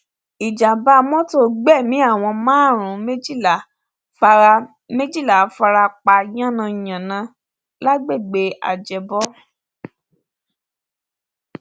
ìjàḿbà mọtò gbẹmí àwọn márùnún méjìlá fara méjìlá fara pa yánnayànna lágbègbè ajẹbọ